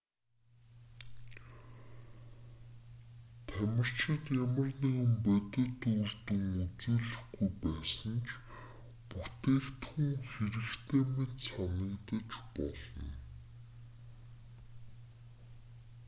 тамирчид ямар нэгэн бодит үр дүн үзүүлэхгүй байсан ч бүтээгдхүүн хэрэгтэй мэт санагдаж болно